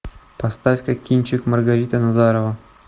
поставь ка кинчик маргарита назарова